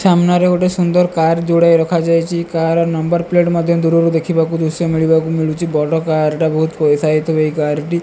ସାମ୍ନାରେ ଗୋଟେ ସୁନ୍ଦର କାର ଜୁଡ଼ାଏ ରଖାଯାଇଛି କାର ନମ୍ବର ପ୍ଲେଟ ମଧ୍ୟ ଦୂରରୁ ଦେଖିବାକୁ ଦୃଶ୍ୟ ମିଳିବାକୁ ମିଳୁଛି ବଡ଼ କାର ଟା ବହୁତ ପଇସା ହେଇଥିବ ଏହି କାର ଟି।